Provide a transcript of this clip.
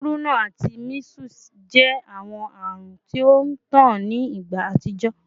Kuruna ati measles jẹ awọn arun ti o ntan ni igba atijọ